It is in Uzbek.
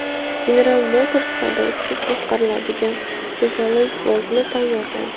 General Motors haydovchisiz boshqariladigan Chevrolet Volt’ni tayyorlaydi.